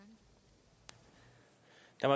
så